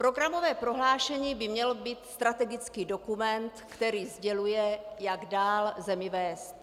Programové prohlášení by měl být strategický dokument, který sděluje, jak dál zemi vést.